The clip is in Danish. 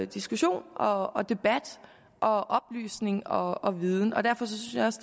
diskussion og og debat og oplysning og og viden og derfor synes